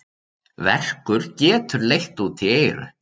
Verkur getur leitt út í eyru.